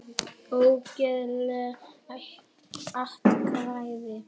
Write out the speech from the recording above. Ógild atkvæði